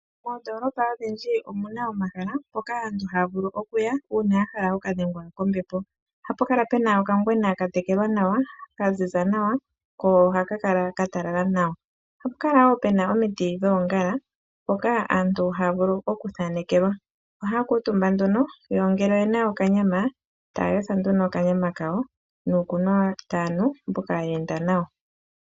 Moondoolopa odhindji omuna omahala mpoka aantu haya vulu okuya uuna yahala okudhengwa kombepo. Ohapu kala puna okangwena ka tekelwa nawa ka ziza nawa ko ohaka kala ka talala nawa. Ohapu kala wo puna omiti dhoongala ndhoka aantu haya vulu oku thaanekelwa. Ohaya kuutumba nee yo ngele oyena okanyama taya yotha nduno okanyama kawo nuu kunwa taya nu mboka ye enda nawo.